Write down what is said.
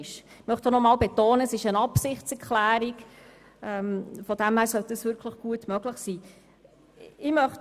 Ich möchte hier noch einmal betonen, dass es sich bei meinem Antrag um eine Absichtserklärung handelt, was wirklich gut machbar sein sollte.